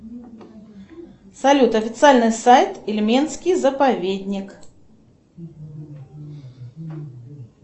салют официальный сайт ильменский заповедник